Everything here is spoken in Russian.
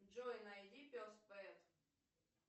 джой найди пес пэт